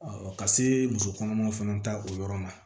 ka se muso kɔnɔmaw fana ta o yɔrɔ la